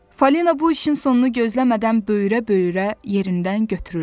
Falina bu işin sonunu gözləmədən böyürə-böyürə yerindən götürüldü.